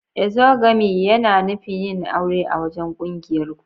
Exogamy yana nufin yin aure a wajen ƙungiyar ku.